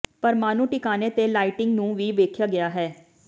ਪਰਮਾਣੂ ਟਿਕਾਣੇ ਤੇ ਲਾਈਟਿੰਗ ਨੂੰ ਵੀ ਵੇਖਿਆ ਗਿਆ ਹੈ